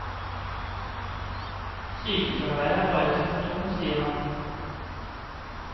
Sykefraværet er bare et symptom, sier han.